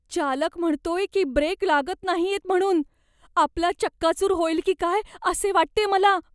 चालक म्हणतोय की ब्रेक लागत नाहीयेत म्हणून. आपला चक्काचूर होईल की काय असे वाटतेय मला.